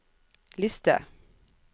liste